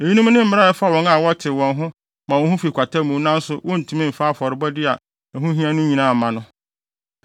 Eyinom ne mmara a ɛfa wɔn a wɔtew wɔn ho ma wɔn ho fi kwata mu nanso wontumi mfa afɔrebɔde a ɛho hia no nyinaa mma no.